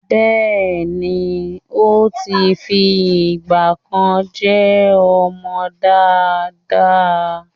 Bẹ́ẹ̀ni, ó ti fi ìgbà kan jẹ́ ọmọ dáadáa.